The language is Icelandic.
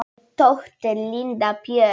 Þín dóttir, Linda Björk.